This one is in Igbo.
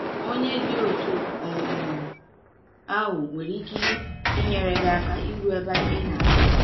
Onye dị otú um ahụ nwere ike inyere gị aka iru ebe ị na-aga.